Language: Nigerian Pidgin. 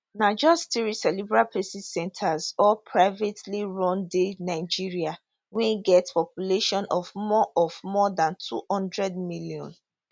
na just three cerebral palsy centres all privately run dey nigeria wey get population of more of more dan 200 million